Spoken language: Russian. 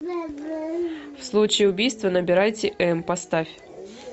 в случае убийства набирайте м поставь